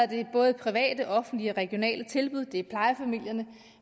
det både private og offentlige regionale tilbud og det er plejefamilierne